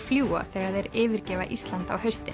fljúga þegar þeir yfirgefa Ísland á haustin